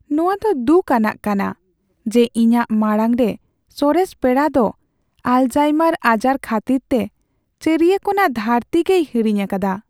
ᱱᱚᱶᱟ ᱫᱚ ᱫᱩᱠ ᱟᱱᱟᱜ ᱠᱟᱱᱟ ᱡᱮ ᱤᱧᱟᱹᱜ ᱢᱟᱲᱟᱝ ᱨᱮ ᱥᱚᱨᱮᱥ ᱯᱮᱲᱟ ᱫᱚ ᱟᱞᱮᱡᱦᱳᱭᱢᱟᱨ ᱟᱡᱟᱨ ᱠᱷᱟᱹᱛᱤᱨᱛᱮ ᱪᱟᱹᱨᱤᱭᱟᱹ ᱠᱳᱱᱟ ᱫᱷᱟᱹᱨᱛᱤ ᱜᱮᱭ ᱦᱤᱲᱤᱧ ᱟᱠᱟᱫᱟ ᱾